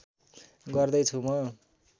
गर्दै छु म